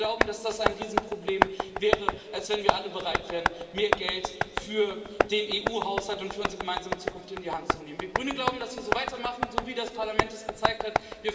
Wir glauben, dass das ein größeres Problem wäre, als wenn wir alle bereit wären, mehr Geld für den EU Haushalt und für unsere gemeinsame Zukunft in die Hand zu nehmen. Wir Grünen glauben, dass wir so weitermachen sollten, wie das Parlament es gezeigt hat.